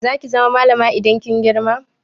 Za ki zama malama idan kin girma?